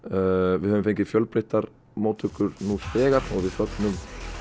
við höfum fengið fjölbreyttar móttökur nú þegar og við fögnum